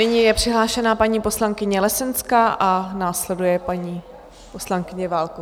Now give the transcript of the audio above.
Nyní je přihlášená paní poslankyně Lesenská a následuje paní poslankyně Válková -